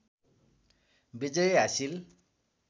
विजय हासिल